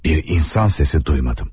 Bir insan sesi duymadım.